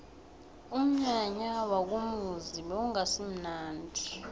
umnyanya wakomuzi bewungasimunandi